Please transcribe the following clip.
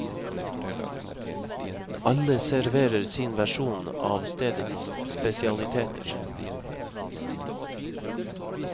Alle serverer sin versjon av stedets spesialiteter.